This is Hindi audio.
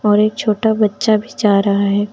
और एक छोटा बच्चा भी जा रहा है।